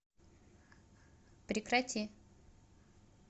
прекрати